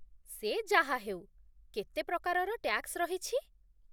ସେ ଯାହା ହେଉ, କେତେ ପ୍ରକାରର ଟ୍ୟାକ୍ସ ରହିଛି ?